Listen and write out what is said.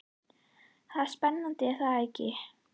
Það er spennandi er það ekki?